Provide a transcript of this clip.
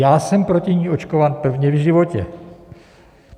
Já jsem proti ní očkován prvně v životě.